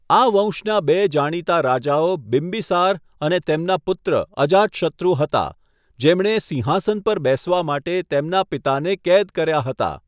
આ વંશના બે જાણીતા રાજાઓ બિંબિસાર અને તેમના પુત્ર અજાતશત્રુ હતા, જેમણે સિંહાસન પર બેસવા માટે તેમના પિતાને કેદ કર્યા હતા.